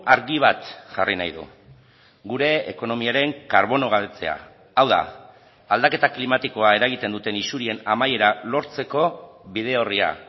argi bat jarri nahi du gure ekonomiaren karbonogabetzea hau da aldaketa klimatikoa eragiten duten isurien amaiera lortzeko bide orria